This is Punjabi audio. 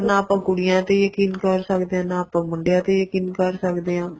ਨਾ ਆਪਾਂ ਕੁੜੀਆਂ ਤੇ ਯਕੀਨ ਕਰ ਸਕਦੇ ਹਾਂ ਨਾ ਆਪਾਂ ਮੁੰਡਿਆਂ ਤੇ ਯਕੀਨ ਕਰ ਸਕਦੇ ਆ